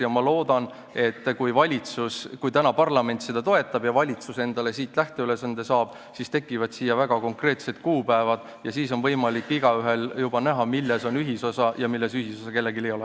Ja ma loodan, et kui parlament täna seda toetab ja valitsus endale siit lähteülesande saab, siis tekivad siia väga konkreetsed kuupäevad ja siis on igaühel võimalik juba näha, milles on ühisosa ja milles ühisosa kellelgi ei ole.